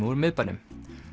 úr miðbænum